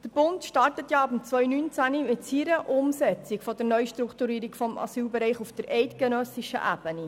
Der Bund startet ab 2019 mit seiner Umsetzung der Neustrukturierung des Asylbereichs auf eidgenössischer Ebene.